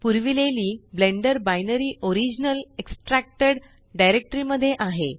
पुरविलेली Blender binary original extracted directory मध्ये आहे